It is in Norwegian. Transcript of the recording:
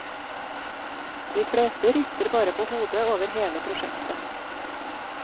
De fleste rister bare på hodet over hele prosjektet.